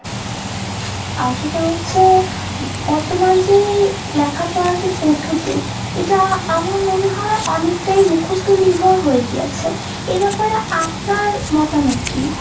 আহ সেটা হচ্ছে বর্তমান যে লেখাপড়ার যে পদ্ধতি এটা আমার মনে হয় অনেকটাই মুখস্ত নির্ভর হয়ে গিয়াছে। এ ব্যাপারে আপনার মতামত কী ?